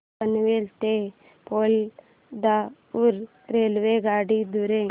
पनवेल ते पोलादपूर रेल्वेगाडी द्वारे